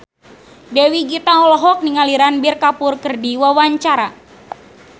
Dewi Gita olohok ningali Ranbir Kapoor keur diwawancara